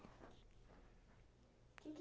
O quê que